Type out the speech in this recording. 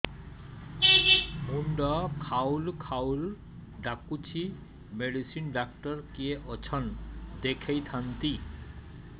ମୁଣ୍ଡ ଖାଉଲ୍ ଖାଉଲ୍ ଡାକୁଚି ମେଡିସିନ ଡାକ୍ତର କିଏ ଅଛନ୍ ଦେଖେଇ ଥାନ୍ତି